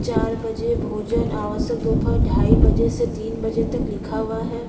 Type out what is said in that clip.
चार बजे भोजन आवास दोपहर ढाई बजे से तीन बजे तक लिखा हुआ हैं।